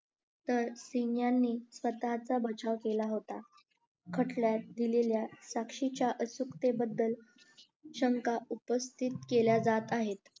तर सिंग यांनी स्वतः चा बचाव केला होता खटल्यात दिलेल्या साक्षेच्या अचूक्तेबद्दल शंका उपस्थित केल्या जात आहेत